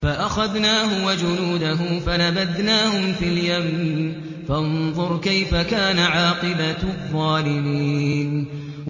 فَأَخَذْنَاهُ وَجُنُودَهُ فَنَبَذْنَاهُمْ فِي الْيَمِّ ۖ فَانظُرْ كَيْفَ كَانَ عَاقِبَةُ الظَّالِمِينَ